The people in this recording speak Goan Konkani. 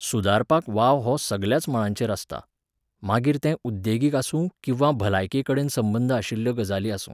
सुदारपाक वाव हो सगल्याच मळांचेर आसता. मागीर तें उद्येगीक आसूं किंवा भलायकेकडेन संबंद आशिल्ल्यो गजाली आसूं